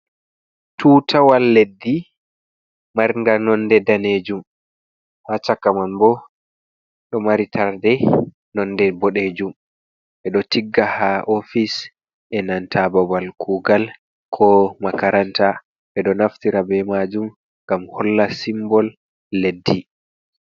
Tuutawal leddi marnga nonde daneejum, ha chaka man bo ɗo mari tarnde nonde boɗeejum. Ɓe ɗo tigga haa ofis e nanta babal kuugal ko makaranta. Ɓe ɗo naftira bee maajum ngam holla simbol leddi.